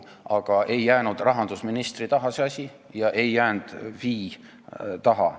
Aga ei jäänud rahandusministri taha see asi ega jäänud Finantsinspektsiooni taha.